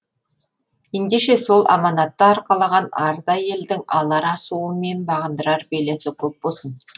ендеше сол аманатты арқалаған арда елдің алар асуы мен бағындырар белесі көп болсын